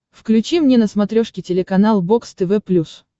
включи мне на смотрешке телеканал бокс тв плюс